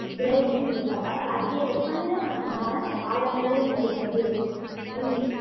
விலகியும் இருப்பதால் அதிக வெப்பநிலை மற்றும் வறண்ட காலநிலை நிலவுகிறது சூரியன்